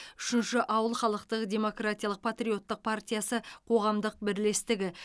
үшінші ауыл халықтық демократиялық патриоттық партиясы қоғамдық бірлестігі